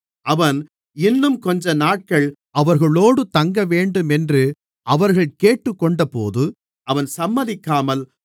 அவன் இன்னும் கொஞ்சநாட்கள் அவர்களோடு தங்கவேண்டுமென்று அவர்கள் கேட்டுக் கொண்டபோது அவன் சம்மதிக்காமல்